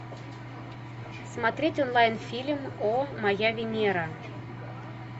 смотреть онлайн фильм о моя венера